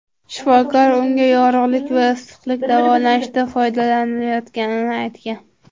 Shifokor unga yorug‘lik va issiqlik davolanishda foydalanilmayotganini aytgan.